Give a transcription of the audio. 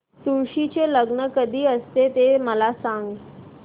तुळशी चे लग्न कधी असते ते मला सांग